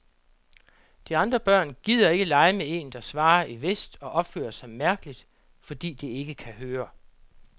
De andre børn gider ikke lege med en, der svarer i vest og opfører sig mærkeligt, fordi det ikke kan høre.